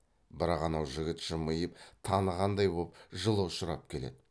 бірақ анау жігіт жымиып танығандай боп жылы ұшырап келеді